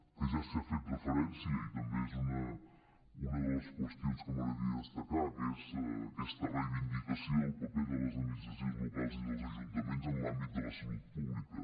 que ja s’hi ha fet referència i també és una de les qüestions que m’agradaria destacar que és aquesta reivindicació del paper de les administracions locals i dels ajuntaments en l’àmbit de la salut pública